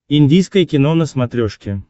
индийское кино на смотрешке